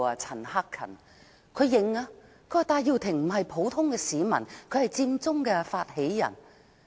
陳克勤議員承認，戴耀廷並非普通市民，而是佔中發起人。